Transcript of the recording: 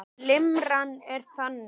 Limran er þannig